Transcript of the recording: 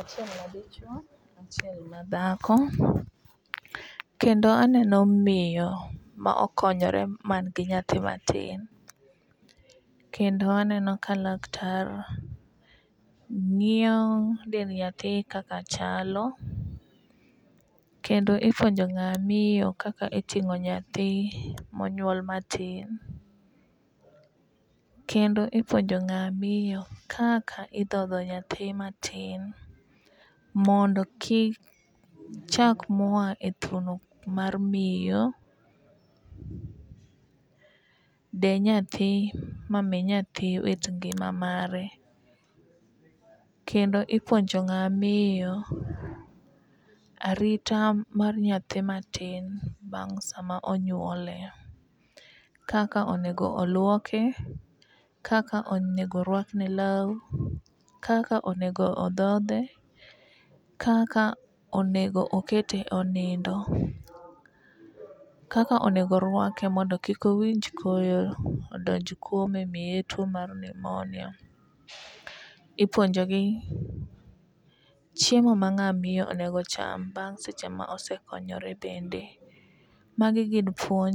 achiel madichuo achiel madhako. Kendo aneno miyo ma okonyore man gi nyathi matin kendo aneno ka laktar ng'iyo dend nyathi kaka chalo kendo ipuonjo ng'a miyo kaka iting'o nyathi monyuol matin. Kendo ipuonjo ng'a miyo kaka idhodho nyathi matin mondo kik chak moa e thuno mar miyo de nyathi mami nyathi wit ngima mare kendo ipuonjo ng'ama miyo arita mar nyathi matinbang' sama onyuole : Kaka onego olwoke kaka onego rwak ne law ,kaka onego odhodhe, kaka onego okete onindo, kaka onego rwake mondo kik owinj koyo odonj kuome omiye tuo mar niumonia, ipuonjogi chiemo ma ng'a miyo onego cham bang' seche ma osekonyore bende . Magi gin puonj.